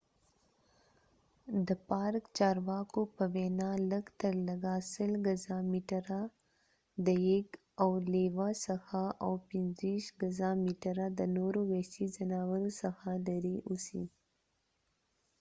د پارک چارواکو په وینا، لږترلږه ۱۰۰ ګزه/میټره د یږ، او لیوه څخه او 25 ګزه/متره د نورو وحشي ځناورو څخه لرې اوسئ!